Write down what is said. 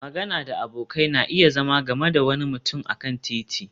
magana da abokai na iya zama game da wani mutum a kan titi